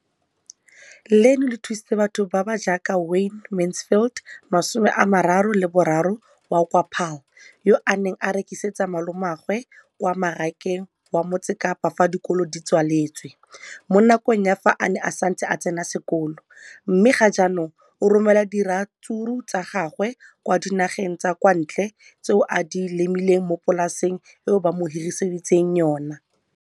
leno le thusitse batho ba ba jaaka Wayne Mansfield, 33, wa kwa Paarl, yo a neng a rekisetsa malomagwe kwa Marakeng wa Motsekapa fa dikolo di tswaletse, mo nakong ya fa a ne a santse a tsena sekolo, mme ga jaanong o romela diratsuru tsa gagwe kwa dinageng tsa kwa ntle tseo a di lemileng mo polaseng eo ba mo hiriseditseng yona.